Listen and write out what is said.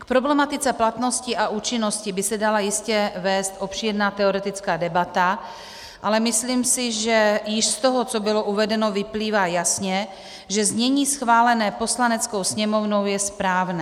K problematice platnosti a účinnosti by se dala jistě vést obšírná teoretická debata, ale myslím si, že již z toho, co bylo uvedeno, vyplývá jasně, že znění schválené Poslaneckou sněmovnou je správné.